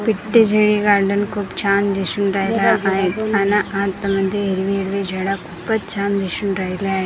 पिट्टी जे हे गार्डन खूप छान दिसून राहिले आहे अन आतमध्ये हिरवी-हिरवी झाडं खूपच छान दिसून राहिले आहे.